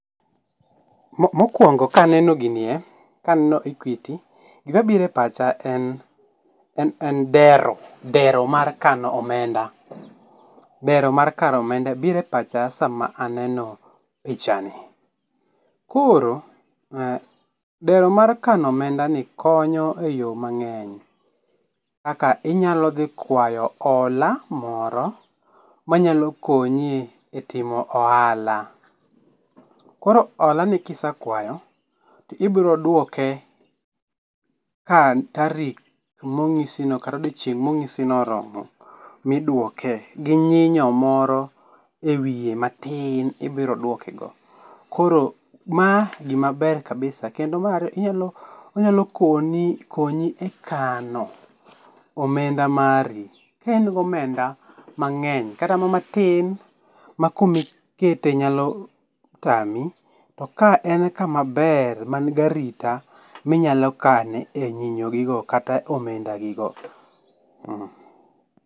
Mokuongo ka aneno ginie, ka aneno Equity gima biro e pacha en en dero, dero mar kano dero mar kano omenda biro e pacha saa ma neno pichano. Koro dero mar kano omendani konyo e yo mang'eny kaka inyalo dhi kwayo ola moro ma nyalo konyi e timo ohala. Koro ola ni ki isekwayo, ibiro dwoko ka tarik mo ng'isino kata odiechieng' mo ong'isono oromo miduoke gi nyinyo moro e wiye matin ibiro dwokego. Koro ma gima maber kabisa kendo onyalo konyi ,konyi e kano omenda mari ka in gi omenda mangeny kata ma matin ma kumi kete nyalo tami to ka en kama maber man ga arita mi inyalo kane e nyinyo gi go kata omenda gi go tee.